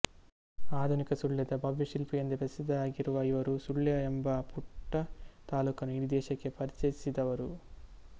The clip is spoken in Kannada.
ಆಧುನಿಕ ಸುಳ್ಯದ ಭವ್ಯ ಶಿಲ್ಪಿ ಎಂದೇ ಪ್ರಸಿದ್ದರಾಗಿರುವ ಇವರು ಸುಳ್ಯ ಎಂಬ ಪುಟ್ಟ ತಾಲೂಕನ್ನು ಇಡೀ ದೇಶಕ್ಕೆ ಪರಿಚಯಿಸಿದವರು